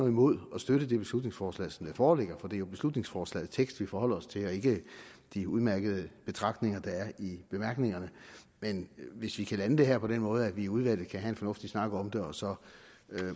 imod at støtte beslutningsforslaget som det foreligger for det er jo beslutningsforslagets tekst vi forholder os til og ikke de udmærkede betragtninger der er i bemærkningerne men hvis vi kan lande det her på den måde at vi i udvalget kan have en fornuftig snak om det og så